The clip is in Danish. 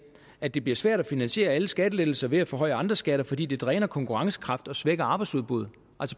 at det bliver svært at finansiere alle skattelettelser ved at forhøje andre skatter fordi det dræner konkurrencekraften og svækker arbejdsudbuddet